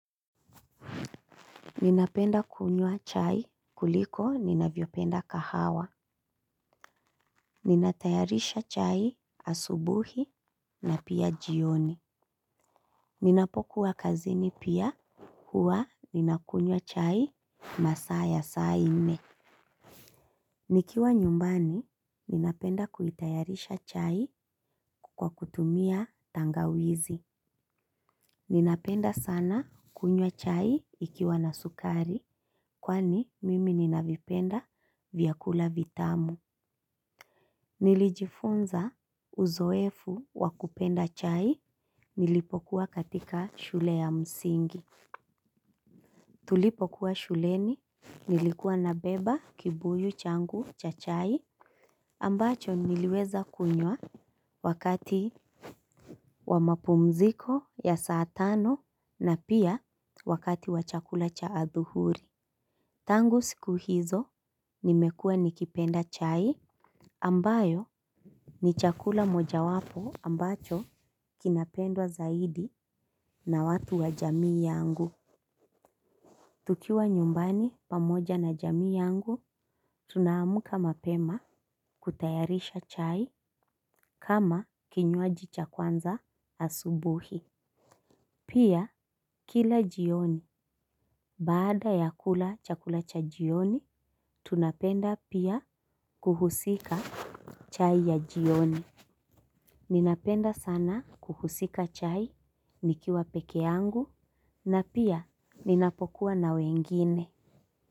Ninapenda kunywa chai kuliko ninavyopenda kahawa. Ninatayarisha chai asubuhi na pia jioni. Ninapokuwa kazini pia huwa ninakunywa chai masaa ya saa nne. Nikiwa nyumbani ninapenda kuitayarisha chai kwa kutumia tangawizi. Ninapenda sana kunywa chai ikiwa na sukari kwani mimi ninavipenda vyakula vitamu. Nilijifunza uzoefu wa kupenda chai nilipokuwa katika shule ya msingi. Tulipokuwa shuleni nilikuwa nabeba kibuyu changu cha chai ambacho niliweza kunywa wakati wa mapumziko ya saa tano na pia wakati wa chakula cha adhuhuri. Tangu siku hizo nimekuwa nikipenda chai ambayo ni chakula mojawapo ambacho kinapendwa zaidi na watu wa jamii yangu. Tukiwa nyumbani pamoja na jamii yangu, tunaamka mapema kutayarisha chai kama kinywaji cha kwanza asubuhi. Pia kila jioni, baada ya kula chakula cha jioni, tunapenda pia kuhusika chai ya jioni. Ninapenda sana kuhusika chai nikiwa peke yangu na pia ninapokuwa na wengine.